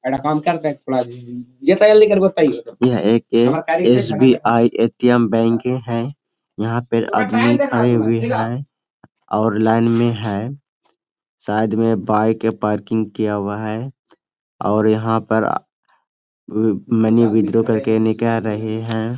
यह एक SBI ATM bank है यहां पर आदमी आए हुए हैं और लाइन में है शायद वे बाइक के पार्किंग किया हुआ है और यहां पर आ मनी विड्रा करके निकल रहे हैं।